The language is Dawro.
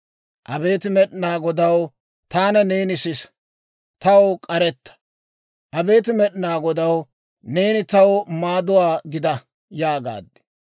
Abeet Med'inaa Godaw, taana neeni sisa; taw k'aretta. Abeet Med'inaa Godaw, neeni taw maaduwaa gida» yaagaad.